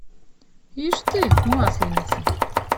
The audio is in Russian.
ишь ты масленица